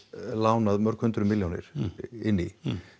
lánað mörg hundruð milljónir inn í